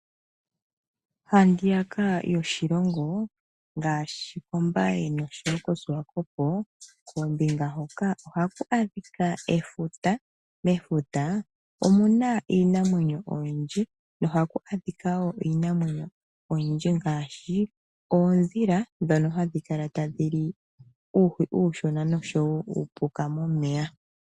Ha ndiya ka lyoshilongo ngaashi kOmbaye noko Shiwakopo ohaku adhika efuta. Mefuta omuna iinamwenyo oyindji oondhila ndhono hadhi kala tadhi li uuhi uushona osho wo uupuka momeya.